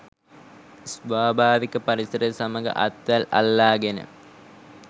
ස්වාභාවික පරිසරය සමග අත්වැල් අල්ලාගෙන